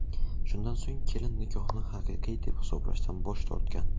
Shundan so‘ng kelin nikohni haqiqiy deb hisoblashdan bosh tortgan.